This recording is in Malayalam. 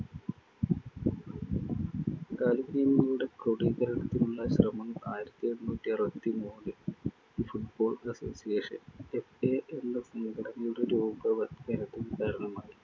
കളിനിയമങ്ങളുടെ ക്രോഡീകരണത്തിനുളള ശ്രമങ്ങൾ ആയിരത്തി എണ്ണൂറ്റി അറുപത്തിമൂന്നില്‍ The football association FA എന്ന സംഘടനയുടെ രൂപവത്കരണത്തിന് കാരണമായി.